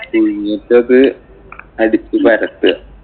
പുഴുങ്ങീട്ട് അത് അടിച്ചു പരത്തുക.